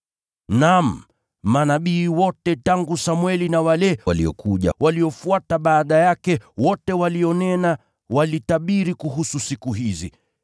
“Naam, manabii wote tangu Samweli na waliokuja baada yake, wote walitabiri kuhusu siku hizi.